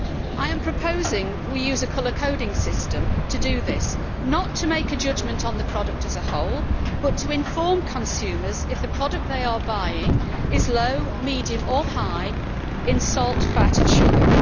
I am proposing we use a colour coding system to do this, not to make a judgment on the product as a whole, but to inform consumers if the product they are buying is low, medium or high in salt, fat and sugar.